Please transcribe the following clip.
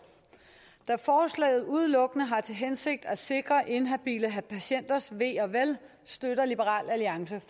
da forslaget udelukkende har til hensigt at sikre inhabile patienters ve og vel støtter liberal alliance